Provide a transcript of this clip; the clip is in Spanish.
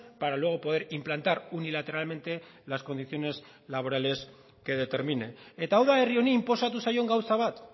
para luego poder implantar unilateralmente las condiciones laborales que determine eta hau da herri honi inposatu zaion gauza bat